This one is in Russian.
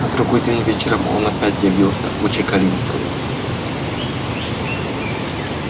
на другой день вечером он опять явился у чекалинского